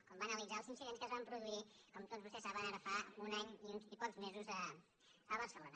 quan va analitzar els incidents que es van produir com tots vostès saben ara fa un any i pocs mesos a barcelona